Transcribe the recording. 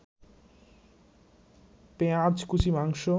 পেঁয়াজকুচি, মাংস